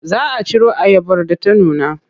Za a ciro ayabar da ta nuna.